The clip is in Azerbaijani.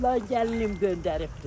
Ağalar, gəlinim göndəribdir.